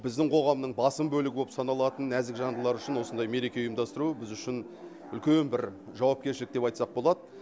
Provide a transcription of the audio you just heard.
біздің қоғамның басым бөлігі боп саналатын нәзік жандылар үшін осындай мереке ұйымдастыру біз үшін үлкен бір жауапкершілік деп айтсақ болады